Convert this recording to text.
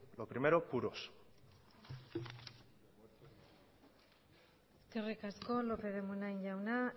lo primero puros eskerrik asko lópez de munain jauna